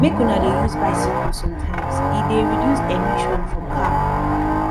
make una dey use bicycle sometimes e dey reduce emission from car